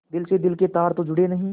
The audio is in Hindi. दिल से दिल के तार तो जुड़े नहीं